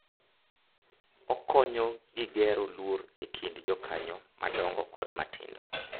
Okonyo gi gero luor e kind jokanyo madongo kod matindo,